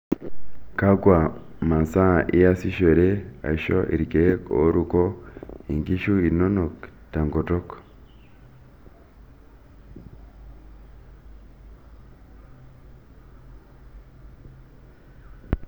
Kakua masaa iasishore aisho irkeek ooruko inkishu inonok te nkutuk?